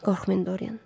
qorxmayın Dorian.